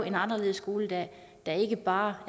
en anderledes skoledag der ikke bare